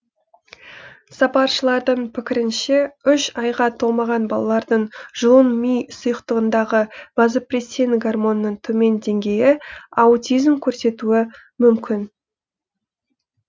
сарапшылардың пікірінше үш айға толмаған балалардың жұлын ми сұйықтығындағы вазопрессин гормонының төмен деңгейі аутизмді көрсетуі мүмкін